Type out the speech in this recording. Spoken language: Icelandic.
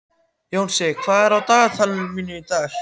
Jónsi, hvað er á dagatalinu í dag?